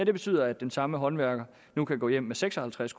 betyder at den samme håndværker nu kan gå hjem med seks og halvtreds